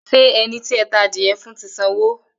Ṣé ẹni tí ẹ ta àdìrẹ fún ti sanwó?